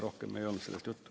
Rohkem ei olnud sellest juttu.